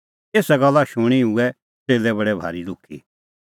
एसा गल्ला शूणीं हुऐ च़ेल्लै बडै भारी दुखी